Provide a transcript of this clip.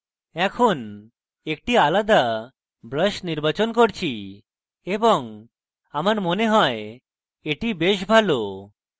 এখন একটি আলাদা brush নির্বাচন করছি এবং আমার মনে হয় এটি brush ভালো